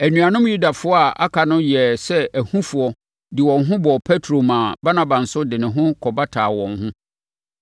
Anuanom Yudafoɔ a aka no yɛɛ sɛ ahufoɔ de wɔn ho bɔɔ Petro maa Barnaba nso de ne ho kɔbataa wɔn ho.